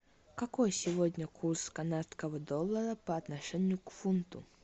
какой сегодня курс канадского доллара по отношению к фунту